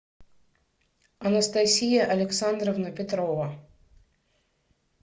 анастасия александровна петрова